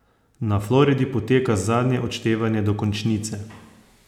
Na Floridi poteka zadnje odštevanje do končnice.